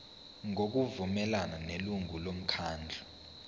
ngokuvumelana nelungu lomkhandlu